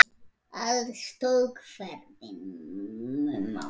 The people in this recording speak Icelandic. Alls tók ferðin um mánuð.